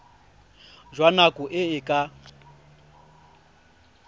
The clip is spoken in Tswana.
jwa nako e e ka